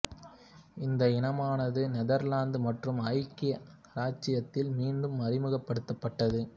இந்த இனமானது நெதர்லாந்து மற்றும் ஐக்கிய இராச்சியத்தில் மீண்டும் அறிமுகப்படுத்தப்பட்டது